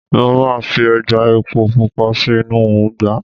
mo ma fi eja epo pupa sí inú ugba